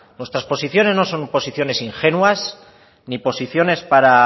nuestras posiciones no son posiciones ingenuas ni posiciones para